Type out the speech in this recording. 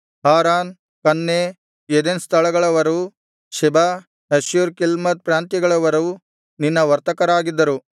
Haran Canneh Eden ಸ್ಥಳಗಳವರೂ Sheba Asshur Chilmad ಪ್ರಾಂತ್ಯಗಳವರೂ ನಿನ್ನ ವರ್ತಕರಾಗಿದ್ದರು